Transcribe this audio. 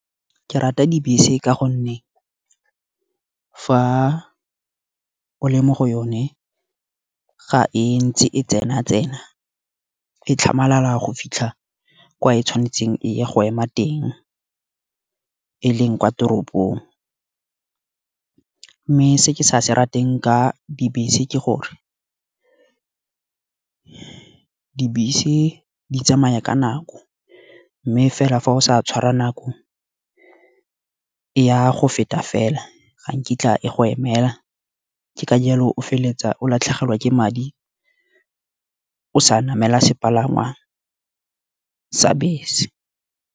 Ke rata dibese ka gonne fa o le mo go yone ga e ntse e tsena tsena. E tlhamalala go fitlha kwa e tshwanetseng e ya go ema e leng kwa toropong. Mme se ke sa se rateng ka dibese ke gore, dibese di tsamaya ka nako mme fela fa o sa tshwara nako, ya go feta fela ga nkitla e go emela. Ka jalo o feleletsa o latlhegelwa ke madi o sa namela sepalangwa sa bese.